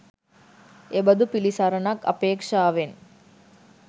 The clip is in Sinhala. එබඳු පිළිසරණක් අපේක්ෂාවෙන්